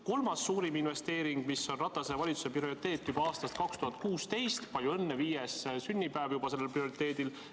Kolmas suurim investeering, mis on Ratase valitsuse prioriteet juba aastast 2016 – palju õnne, viies sünnipäev on juba sellel prioriteedil!